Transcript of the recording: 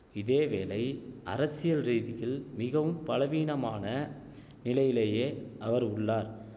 இதேவேளை அரசியல்ரீதியில் மிகவும் பலவீனமான நிலையிலேயே அவர் உள்ளார்